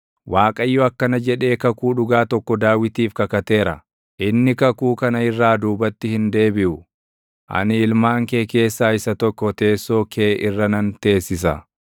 Waaqayyo akkana jedhee kakuu dhugaa tokko Daawitiif kakateera; inni kakuu kana irraa duubatti hin deebiʼu: “Ani ilmaan kee keessaa isa tokko teessoo kee irra nan teessisa;